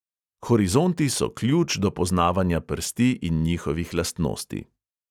Horizonti so ključ do poznavanja prsti in njihovih lastnosti.